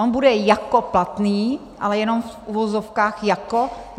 On bude jako platný, ale jenom v uvozovkách jako.